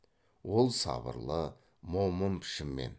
ол сабырлы момын пішінмен